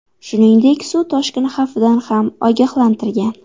Shuningdek, suv toshqini xavfidan ham ogohlantirgan.